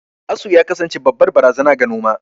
Asu ya kasance babbar barazana ga noma.